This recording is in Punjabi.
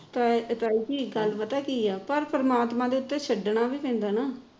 ਤਾ ਤਾਈ ਜੀ ਗੱਲ ਪਤਾ ਕੀ ਏ ਪਰ ਪਰਮਾਤਮਾ ਦੇ ਉਤੇ ਛੱਡਣਾ ਵੀ ਪੈਦਾ ਨਾ